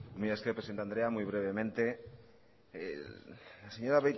mila esker presidente andrea uy brevemente la señora